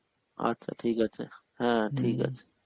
আচ্ছা ঠিক আছে, হ্যাঁ আছে